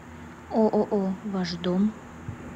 ооо ваш дом